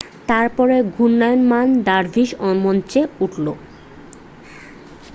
তারপরে ঘূর্ণিয়মান দারভিস মঞ্চে উঠল